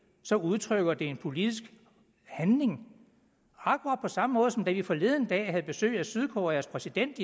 udtrykker det en politisk handling akkurat på samme måde som da vi forleden dag i danmark havde besøg af sydkoreas præsident